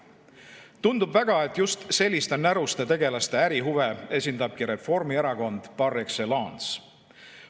Tundub, et just selliste näruste tegelaste ärihuve esindab Reformierakond par excellence.